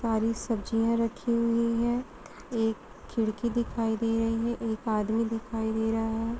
और इ सब्जियाँ रखी हुई है | एक खिड़की दिखाई दे रही है | एक आदमी दिखाई दे रहा है |